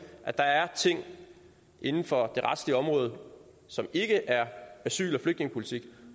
at der er ting inden for det retlige område som ikke er asyl og flygtningepolitik